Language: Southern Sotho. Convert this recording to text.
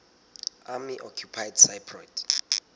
army occupied cypriot